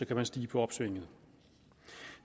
kan man stige på opsvinget